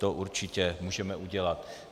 To určitě můžeme udělat.